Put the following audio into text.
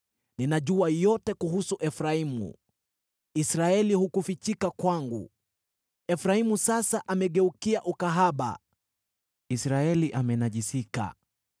Ninajua yote kuhusu Efraimu, Israeli hukufichika kwangu. Efraimu, sasa umegeukia ukahaba, Israeli amenajisika.